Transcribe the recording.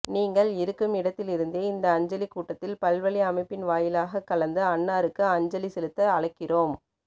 நீங்கள் இருக்குமிடத்திலிருந்தே இந்த அஞ்சலிக் கூட்டத்தில் பல்வழி அழைப்பின் வாயிலாகக் கலந்து அன்னாருக்கு அஞ்சலி செலுத்த அழைக்கிறோம்